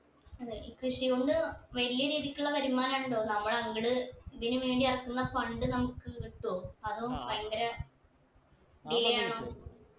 അതെ ഈ കൃഷി കൊണ്ട് വലിയ രീതിക്ക്ള്ള വരുമാനം ഉണ്ടോ നമ്മൾ അങ്ങട് ഇതിന് വേണ്ടി ഇറക്കുന്ന fund നമ്മക്ക് കിട്ടോ അതോ ഭയങ്കര delay ആണോ